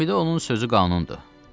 Gəmidə onun sözü qanundur.